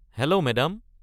Hello madam.